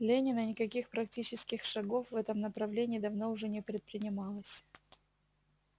ленина никаких практических шагов в этом направлении давно уже не предпринималось